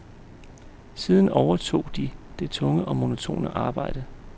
Siden overtog de det tunge og monotone arbejde.